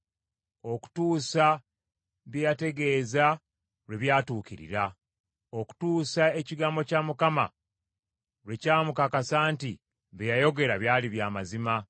okutuusa bye yategeeza lwe byatuukirira, okutuusa ekigambo kya Mukama lwe kyamukakasa nti bye yayogera bya mazima.